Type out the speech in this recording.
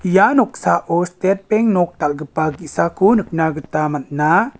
ia noksao stet beng nok dal·gipa ge·sako nikna gita man·a.